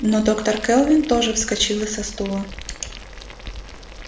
но доктор кэлвин тоже вскочила со стула